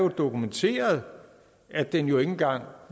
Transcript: dokumenteret at den jo ikke engang